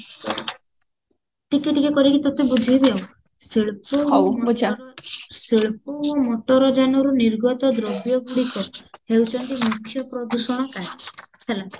ଟିକେ ଟିକେ କରିକି ତତେ ବୁଝେଇବି ଆଉ ମଟର ଯାନର ନିର୍ଗତ ଦ୍ରବ୍ୟ ଗୁଡିକ ହେଉଛନ୍ତି ମୁଖ୍ୟ ପ୍ରଦୂଷଣ କାରୀ ହେଲା